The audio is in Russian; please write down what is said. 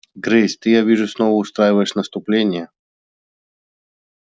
грейс ты я вижу снова устраиваешь наступление